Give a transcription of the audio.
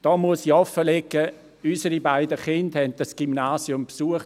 Ich muss offenlegen, dass unsere beiden Kinder dieses Gymnasium besuchten.